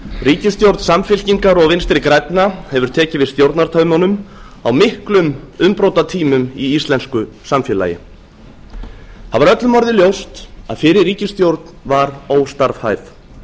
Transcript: ríkisstjórn samfylkingar og vinstri grænna hefur tekið við stjórnartaumunum á miklum umbrotatímum í íslensku samfélagi það var öllum orðið ljóst að fyrri ríkisstjórn var óstarfhæf